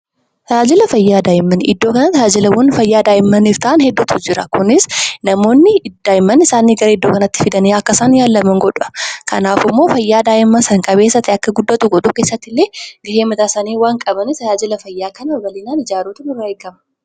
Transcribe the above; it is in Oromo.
Tajaajilla fayyaa daa'immaniif kan ta'an hedduutu jira. Kunis namoonni daa'imman isaanii gara giddugala fayyaatti geessuun daa'imman isaanii talaalchisuun fayyaa daa'imman issanii eeggachuu ni danada'u.